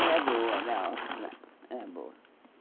Era boa, era ótima, era boa.